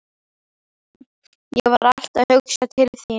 Ég var alltaf að hugsa til þín.